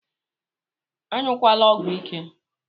Anyukwana ọgwụ ike!!